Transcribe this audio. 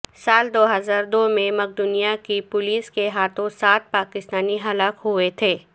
سال دو ہزار دو میں مقدونیا کی پولیس کے ہاتھوں سات پاکستانی ہلاک ہوئے تھے